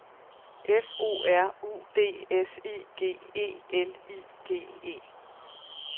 F O R U D S I G E L I G E